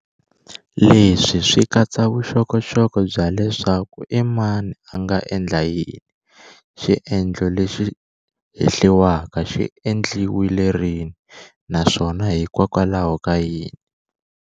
Leswi swi katsa vuxokoxoko bya leswaku i mani a nga endla yini, xiendlo lexi hehliwaka xi endliwile rini, naswona hikwalaho ka yini.